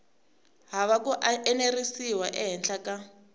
hava ku enerisiwa ehenhla ka